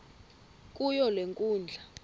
kuyo le nkundla